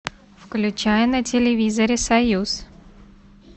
включай на телевизоре союз